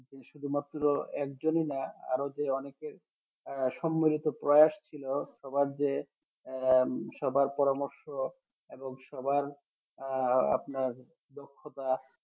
এই শুধুমাত্র একজনই না আরও যে অনেকে আহ সম্মিলিত প্রয়াস ছিল সবার জে আহ সবার পরামর্শ এবং সবার আহ আপনার দক্ষতা